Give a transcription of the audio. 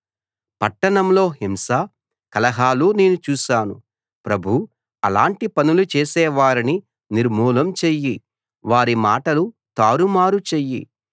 పట్టణంలో హింస కలహాలు నేను చూశాను ప్రభూ అలాటి పనులు చేసేవారిని నిర్మూలం చెయ్యి వారి మాటలు తారుమారు చెయ్యి